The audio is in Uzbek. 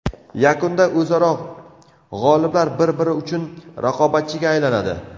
Yakunda o‘zaro g‘oliblar bir-biri uchun raqobatchiga aylanadi.